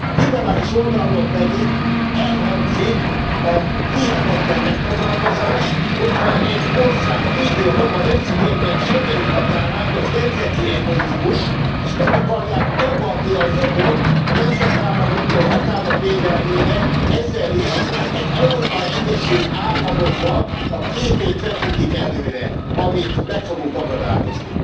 Liberális oldalról pedig elhangzik a hihetetlen megfogalmazás, hogy ha egy ország védi a maga nemzeti, egyben schengeni határát, az nemzeti egoizmus, és meg akarják tagadni a jogot a nemzetállamoktól a határok védelmére, ezzel is egy Európai Egyesült Államoknak a képét vetítik előre, amit meg fogunk akadályozni.